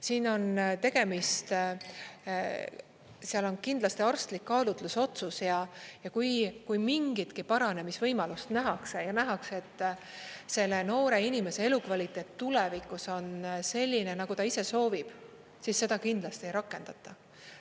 Siin on tegemist, seal on kindlasti arstlik kaalutlusotsus ja kui mingitki paranemisvõimalust nähakse ja nähakse, et selle noore inimese elukvaliteet tulevikus on selline, nagu ta ise soovib, siis seda kindlasti ei rakendata.